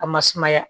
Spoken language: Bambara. A ma sumaya